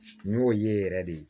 N y'o ye yɛrɛ de